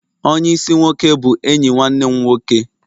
Onye isi-nwoke bụ enyi nwanne m nwoke